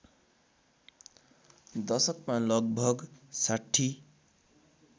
दशकमा लगभग ६०